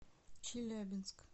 челябинск